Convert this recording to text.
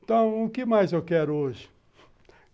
Então, o que mais eu quero hoje?